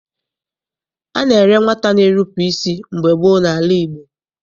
A na-ere nwata na-erupu isi mgbe gboo n'ala Igbo.